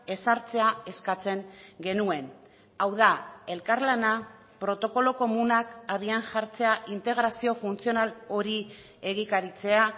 ezartzea eskatzen genuen hau da elkarlana protokolo komunak abian jartzea integrazio funtzional hori egikaritzea